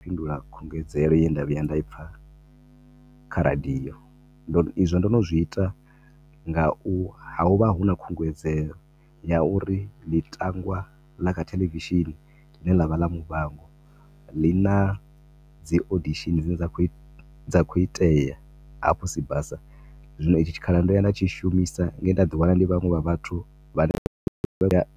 Ndi khou fhindula khungedzelo ye nda vhuya nda ipfa kha radio, ndo no, izwo ndo no zwi ita nga u, hovha hu na khungudzelo ya uri ḽitangwa la kha thelevishini ḽine ḽavha ḽa muvhango ḽi na dzi audition dzine dza khou itea hafhu Sibasa, zwino hetshi tshi khala ndo ya nda tshi shumisa nge he nda ḓi wana ndi vhanwe wa vhathu